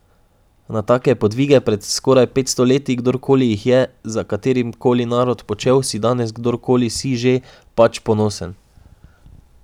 Na take podvige pred skoraj petsto leti, kdorkoli jih je, za katerikoli narod počel, si danes, kdorkoli si že, pač ponosen.